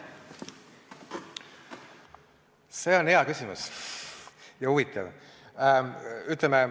See on hea ja huvitav küsimus.